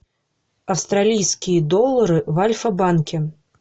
австралийские доллары в альфа банке